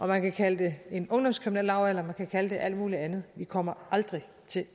man kan kalde det en ungdomskriminellavalder man kan kalde det alt muligt andet vi kommer aldrig til